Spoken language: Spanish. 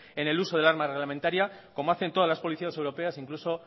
en el uso de arma reglamentaria como hacen todas las policías europeas incluso